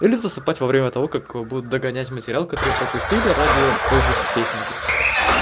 или засыпать во время того как будет догонять материал который пропустили ради той же песенки